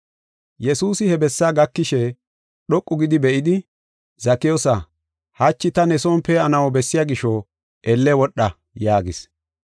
Yesuusi he bessaa gakishe dhoqu gidi be7idi, “Zakiyoosa, hachi ta ne son pee7anaw bessiya gisho elle wodha” yaagis.